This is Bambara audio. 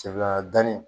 danni